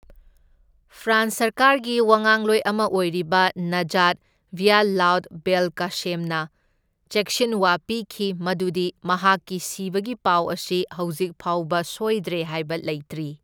France ꯁꯔꯀꯥꯔꯒꯤ ꯋꯥꯉꯥꯡꯂꯣꯏ ꯑꯃ ꯑꯣꯏꯔꯤꯕ ꯅꯥꯖꯥꯠ ꯚ꯭ꯌꯥꯂꯥꯎꯗ ꯕꯦꯜꯀꯥꯁꯦꯝꯅ ꯆꯦꯛꯁꯤꯟꯋꯥ ꯄꯤꯈꯤ ꯃꯗꯨꯗꯤ ꯃꯍꯥꯛꯀꯤ ꯁꯤꯕꯒꯤ ꯄꯥꯎ ꯑꯁꯤ ꯍꯧꯖꯤꯛ ꯐꯥꯎꯕ ꯁꯣꯢꯗ꯭ꯔꯦ ꯍꯥꯢꯕ ꯂꯩꯇ꯭ꯔꯤ꯫